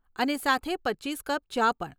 અને સાથે પચીસ કપ ચા પણ.